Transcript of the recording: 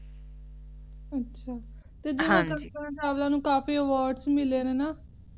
ਅੱਛਾ ਜਿਵੇਂ ਕਲਪਨਾ ਚਾਵਲਾ ਨੂੰ ਬੜੇ Award ਮਿਲੇ ਨੇ ਨਾ